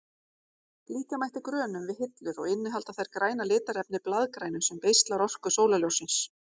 Líkja mætti grönum við hillur og innihalda þær græna litarefnið blaðgrænu sem beislar orku sólarljóssins.